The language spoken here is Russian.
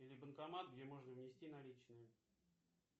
или банкомат где можно внести наличные